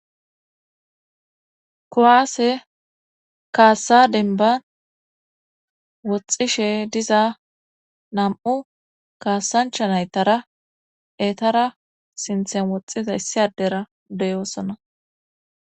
kuwaase kaassa dembba woxxishe diza nam7u kaassanchcha naytara eetara sinthen woxxiza issi addera de7oosona.